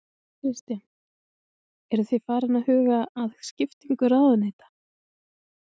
Kristján: Eru þið farin að huga að skiptingu ráðuneyta?